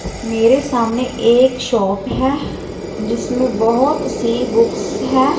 मेरे सामने एक शॉप है जिसमें बहोत सी बुक्स है।